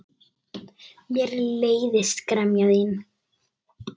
Mér leiðist gremja þín.